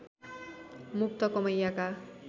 मुक्त कमैयाका